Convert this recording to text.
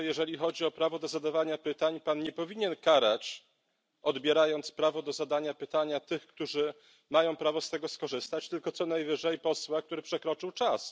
Panie Przewodniczący! Uważam, że jeżeli chodzi o prawo do zadawania pytań, Pan nie powinien karać, odbierając prawo do zadania pytania, tych, którzy mają prawo z tego skorzystać, tylko co najwyżej posła, który przekroczył czas.